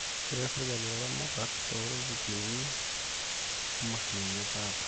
Keret serikali ilaramatak too iruzukuni o mashinini etaata